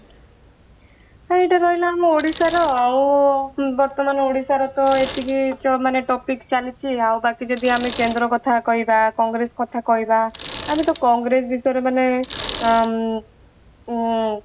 ହଁ ଏଇଟା ରହିଲା ଆମ ଓଡିଶା ର ଆଉ ବର୍ତ୍ତମାନ ଓଡିଶା ର ଏତିକି ମାନେ topic ଚାଲିଛି ଆଉ ବାକି ଯଦି ଆମେ କେନ୍ଦ୍ର କଥା କହିବା କଂଗ୍ରେସ କଥା କହିବା ଆମେ ତ କଂଗ୍ରେସ ବିଷୟରେ ମାନେ ଉମ